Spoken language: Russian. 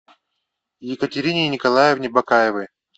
екатерине николаевне бакаевой